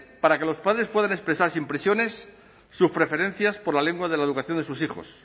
para que los padres puedan expresar sin presiones sus preferencias por la lengua de la educación de sus hijos